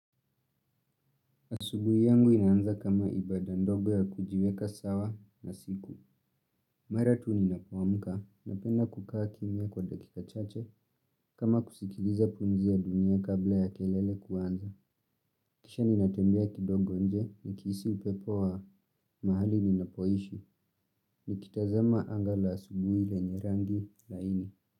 Asubuhi yangu inaanza kama ibada ndogo ya kujiweka sawa na siku. Mara tu ninapoamka napenda kukaa kimya kwa dakika chache kama kusikiliza pumzi ya dunia kabla ya kelele kuanza. Kisha nitatembea kidogo nje nikihisi upepo wa mahali ninapoishi nikitazama anga la asubuhi lenye rangi laini.